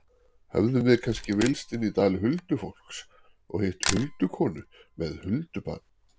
Höfðum við kannski villst inn í dal huldufólks og hitt huldukonu með huldubarn?